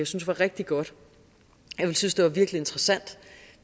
synes var rigtig godt jeg ville synes det var virkelig interessant